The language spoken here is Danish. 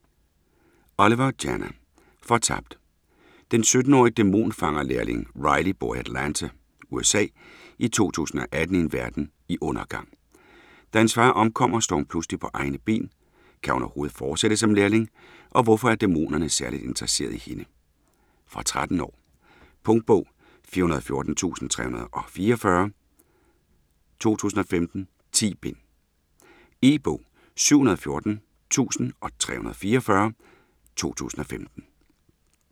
Oliver, Jana: Fortabt Den 17-årige dæmonfangerlærling Riley bor i Atlanta, USA i 2018 i en verden i undergang. Da hendes far omkommer, står hun pludselig på egne ben. Kan hun overhovedet fortsætte som lærling, og hvorfor er dæmonerne særligt interesserede i hende? Fra 13 år. Punktbog 414344 2015. 10 bind. E-bog 714344 2015.